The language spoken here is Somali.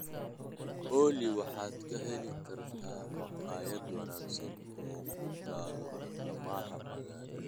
olly waxaad ka heli kartaa makhaayad wanaagsan oo ku taal bartamaha magaalada